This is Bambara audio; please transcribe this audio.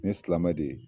Ni ye silamɛ de ye